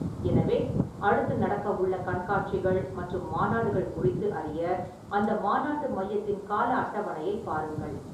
எனவே, அடுத்து நடக்கவுள்ள கண்காட்சிகள் மற்றும் மாநாடுகள் குறித்து அறிய அந்த மாநாட்டு மையத்தின் கால அட்டவணையை பாருங்கள்.